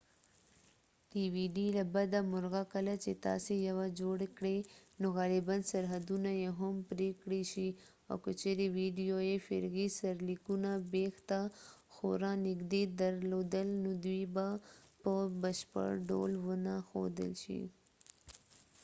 له بده مرغه کله چې تاسي یوه dvd جوړ کړئ نو غالباً سرحدونه یې هم پرې کړئ شي او که چیرې ویډیو یې فرعي سرلیکونه بېخ ته خورا نږدې درلودل نو دوی به په بشپړ ډول ونه ښودل شي